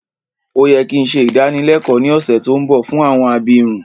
Ó yẹ ki n se ìdánilẹ́kọ ni ọ̀ṣẹ̀ to nbọ fún àwọn abirun